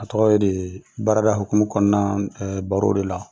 A tɔgɔ ye de baarada hukumu kɔnɔna na baro de la.